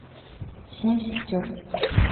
семь сестер